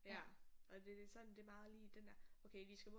Ja og det er sådan det er meget lige den der okay de skal